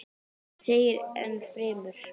Þar segir enn fremur